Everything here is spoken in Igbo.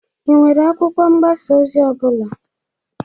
Ị nwere akwụkwọ mgbasa ozi ọ bụla?